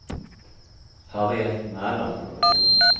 Harriet Mæland